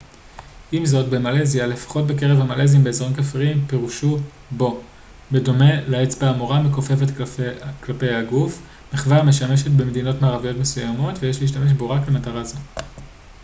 עם זאת במלזיה לפחות בקרב המלזים באזורים כפריים פירושו בוא בדומה לאצבע המורה המכופפת כלפי הגוף מחווה המשמשת במדינות מערביות מסוימות ויש להשתמש בו רק למטרה זו